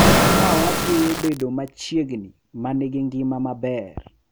Ka wajiwo bedo machiegni ma nigi ngima maber.